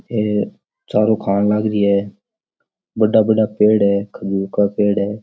ये चारो खान लाग रही है बड़ा बड़ा पेड़ है खजूर का पेड़ है।